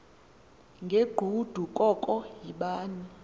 ngegqudu koko yibani